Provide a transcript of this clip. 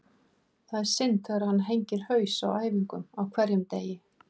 Það er synd þegar hann hengir haus á æfingum á hverjum degi.